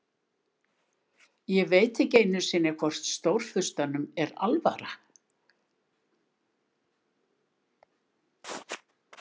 Ég veit ekki einu sinni hvort Stórfurstanum er alvara.